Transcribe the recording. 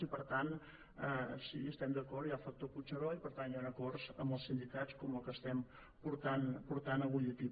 i per tant sí hi estem d’acord hi ha el factor puigneró i per tant hi han acords amb els sindicats com el que estem portant avui aquí